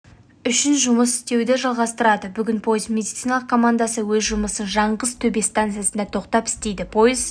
үшін жұмыс істеуді жалғастырады бүгін пойыз медициналық командасы өз жұмысын жаңғыз-төбе станцияда тоқтап істейді пойыз